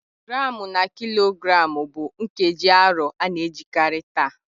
Gramu na kilogramu bụ nkeji arọ a na-ejikarị taa.